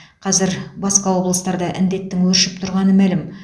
қазір басқа облыстарда індеттің өршіп тұрғаны мәлім